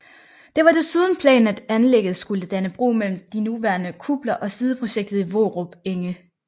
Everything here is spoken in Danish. Det var desuden planen at anlæget skulle danne bro mellem de nuværende kupler og sideprojektet Vorup Enge